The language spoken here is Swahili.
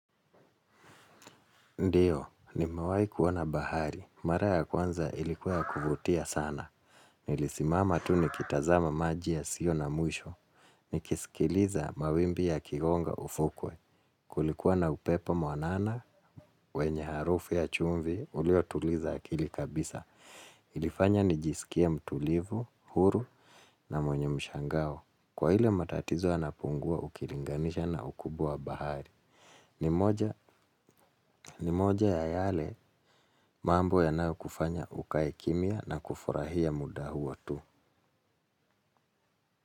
Ndiyo, nimewai kuona bahari. Mara ya kwanza ilikuwa ya kuvutia sana. Nilisimama tu ni kitazama maji ya sio na mwisho. Nikisikiliza mawimbi ya kigonga ufukwe. Kulikuwa na upepo mwanana, wenye harufu ya chumvi ulio tuliza akili kabisa. Ilifanya nijisikie mtulivu, huru na mwenye mshangao. Kwa ile matatizo yanapungua ukilinganisha na ukubwa wa bahari. Ni moja ya yale mambo yanayo kufanya ukae kimya na kufurahia muda huo tu.